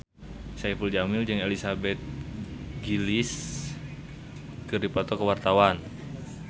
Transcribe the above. Saipul Jamil jeung Elizabeth Gillies keur dipoto ku wartawan